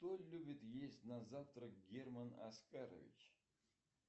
что любит есть на завтрак герман оскарович